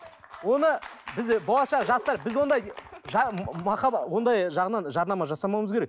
оны біз болашақ жастар біз ондай ондай жарнама жасамауымыз керек